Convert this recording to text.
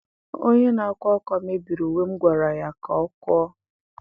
Onye na-akwa akwa mebiri uwe m gwara ya ka ọ kụọ.